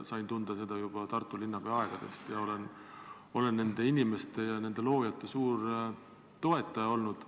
Sain seda tunda juba Tartu linnapeana ja olen selle loonud inimeste suur toetaja olnud.